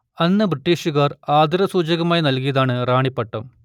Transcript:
അന്ന് ബ്രിട്ടീഷ്കാർ ആദരസൂചകമായി നൽകിയതാണ് റാണി പട്ടം